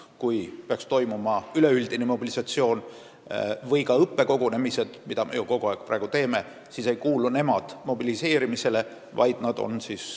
Kui peaks toimuma üleüldine mobilisatsioon või ka õppekogunemised, mida me ju kogu aeg teeme, siis nemad mobiliseerimisele ei kuulu.